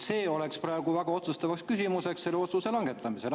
See oleks praegu väga otsustavaks küsimuseks selle otsuse langetamisel.